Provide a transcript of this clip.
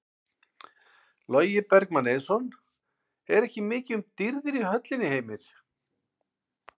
Logi Bergmann Eiðsson: Er ekki mikið um dýrðir í höllinni Heimir?